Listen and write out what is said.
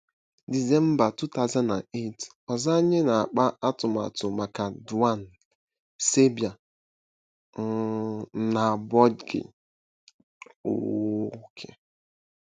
Disemba 2008: Ọzọ anyị na-akpa atụmatụ maka Dauan, Saibai um, na Boigu. um um